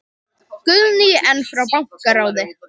Guðný: En frá bankaráði?